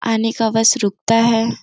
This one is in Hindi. आने का बस रुकता है।